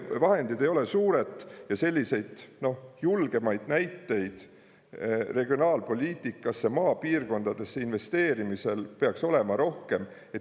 Vahendid ei ole suured ja selliseid julgemaid näiteid regionaalpoliitikas maapiirkondadesse investeerimisel peaks olema rohkem.